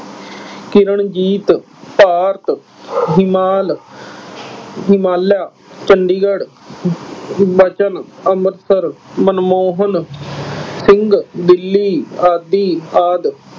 ਕਿਰਨਜੀਤ, ਭਾਰਤ, , ਹਿਮਾਲਿਆ, ਚੰਡੀਗੜ੍ਹ, , ਅੰਮ੍ਰਿਤਸਰ, ਮਨਮੋਹਨ ਸਿੰਘ, ਦਿੱਲੀ ਆਦਿ ਆਦਿ।